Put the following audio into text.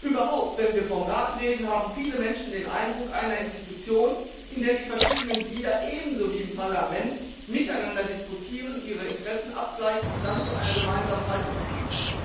Überhaupt, wenn wir vom Rat reden, haben viele Menschen den Eindruck einer Institution, in der die verschiedenen Glieder ebenso wie im Parlament miteinander diskutieren, ihre Interessen abgleichen und dann zu einer gemeinsamen Haltung finden.